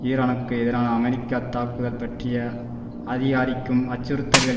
ஈரானுக்கு எதிரான அமெரிக்க தாக்குதல் பற்றிய அதிகரிக்கும் அச்சுறுத்தல்கள்